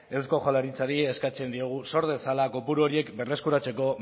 eusko jaurlaritzari eskatzen diogu sor dezala kopuru horiek berreskuratzeko